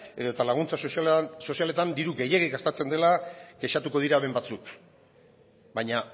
edo laguntza sozialetan diru gehiegi gastatzen dela kexatuko dira hemen batzuk baina